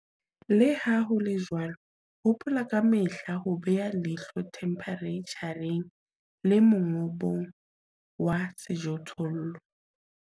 Le ha ho le jwalo, hopola ka mehla ho beha leihlo themphereitjhareng le mongobong wa sejothollo.